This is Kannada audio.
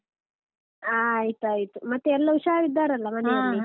ಆಯ್ತಾಯ್ತು ಮತ್ತೆ ಎಲ್ಲ ಹುಷಾರಿದ್ದಾರಲ್ಲ .